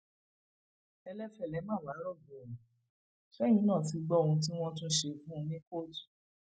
ẹlẹfẹlẹ má wàá rọgọ o sẹyìn náà ti gbọ ohun tí wọn tún ṣe fún un ní kóòtù